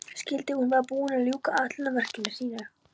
Skyldi hún vera búin að ljúka ætlunarverki sínu?